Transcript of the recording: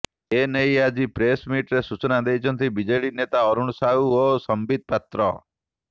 ଏ ନେଇ ଆଜି ପ୍ରେସମିଟ୍ରେ ସୂଚନା ଦେଇଛନ୍ତି ବିଜେଡି ନେତା ଅରୁଣ ସାହୁ ଓ ସସ୍ମିତ ପାତ୍ର